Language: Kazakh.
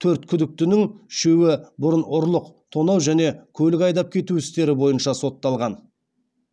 төрт күдіктінің үшеуі бұрын ұрлық тонау және көлік айдап кету істері бойынша сотталған